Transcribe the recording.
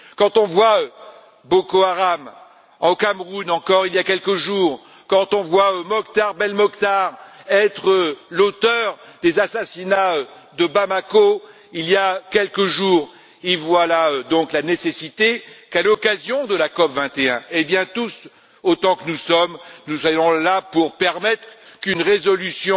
Quand on voit Boko Haram au Cameroun il y a encore quelques jours, quand on voit Mokhtar Belmokhtar être l'auteur des assassinats de Bamako il y a quelques jours, voilà donc la nécessité qu'à l'occasion de la COP21, tous autant que nous sommes, nous soyons là pour permettre qu'une résolution